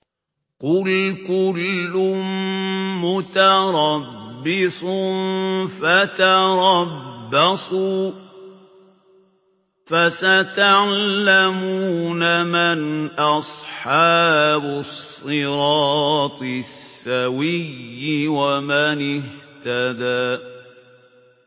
قُلْ كُلٌّ مُّتَرَبِّصٌ فَتَرَبَّصُوا ۖ فَسَتَعْلَمُونَ مَنْ أَصْحَابُ الصِّرَاطِ السَّوِيِّ وَمَنِ اهْتَدَىٰ